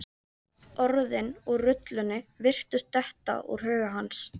Orðin úr rullunni virtust detta úr huga hans.